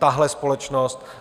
Tahle společnost.